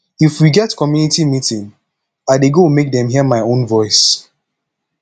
if we get community meeting i dey go make dem hear my own voice